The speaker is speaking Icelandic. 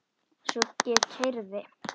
Svo ég keyrði.